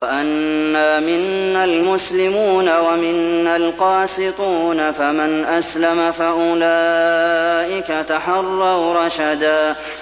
وَأَنَّا مِنَّا الْمُسْلِمُونَ وَمِنَّا الْقَاسِطُونَ ۖ فَمَنْ أَسْلَمَ فَأُولَٰئِكَ تَحَرَّوْا رَشَدًا